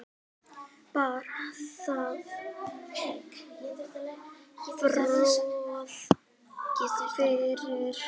Bar það á borð fyrir